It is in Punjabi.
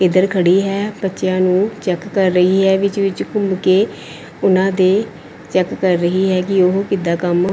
ਇਧਰ ਖੜੀ ਹੈ ਬੱਚਿਆਂ ਨੂੰ ਚੈੱਕ ਕਰ ਰਹੀ ਹੈ ਵਿੱਚ ਵਿੱਚ ਘੁੰਮ ਕੇ ਉਹਨਾਂ ਦੇ ਚੈੱਕ ਕਰ ਰਹੀ ਹੈ ਕਿ ਉਹ ਕਿੱਦਾਂ ਕੰਮ --